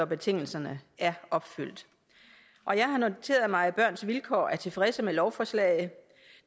betingelserne opfyldes jeg har noteret mig at børns vilkår er tilfredse med lovforslaget